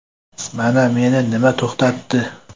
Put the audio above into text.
Mana meni nima to‘xtatdi.